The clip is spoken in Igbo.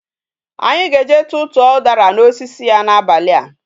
Anyi ga eje tutuo udara na osisi ya na abali a